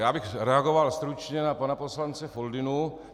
Já bych reagoval stručně na pana poslance Foldynu.